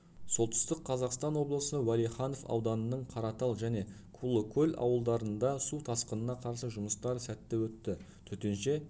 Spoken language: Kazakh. солтүстік қазақстан облысы уәлиханов ауданының қаратал және кулыкөл ауылдарында су тасқынына қарсы жұмыстар сәтті өтті төтенше